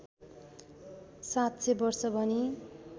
७०० वर्ष भनी